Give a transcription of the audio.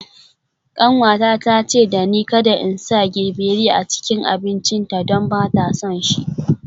Kanwata ta ce da ni kada in sa gbegírí a cikin abincinta don ba ta son shi.